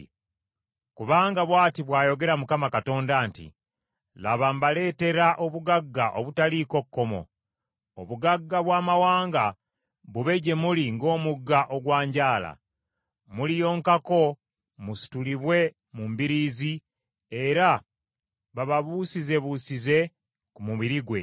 Kubanga bw’ati bw’ayogera Mukama Katonda nti, “Laba mbaleetera obugagga obutaliiko kkomo, obugagga bw’amawanga bube gye muli ng’omugga ogwanjaala. Muliyonkako, musitulibwe mu mbiriizi era bababuusizebuusize ku mubiri gwe.